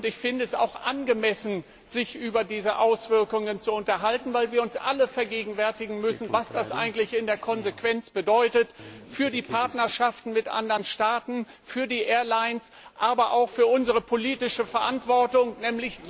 Und ich finde es auch angemessen, sich über diese Auswirkungen zu unterhalten, weil wir uns alle vergegenwärtigen müssen, was das eigentlich in der Konsequenz für die Partnerschaften mit anderen Staaten, für die Airlines, aber auch für unsere politische Verantwortung bedeutet.